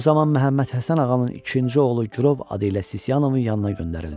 O zaman Məhəmməd Həsən Ağanın ikinci oğlu Gürov adı ilə Sisiyanovun yanına göndərildi.